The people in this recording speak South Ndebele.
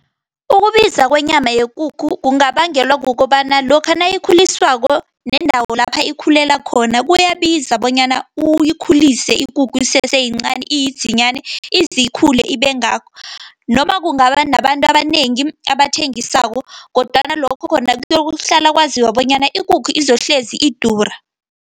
Ukubiza kwenyama yekukhu, kungabangelwa kukobana lokha nayikhuliswako, nendawo lapha ikhulela khona. Kuyabiza bonyana uyikhulise ikukhu, isese yincani iyidzilanyani izikhule ibengaka. Noma kungaba nabantu abanengi abathengisako, kodwana lokho khona kuyokuhlala kwaziwa bonyana ikukhu izohlezi idura.